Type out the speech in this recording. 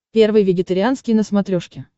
первый вегетарианский на смотрешке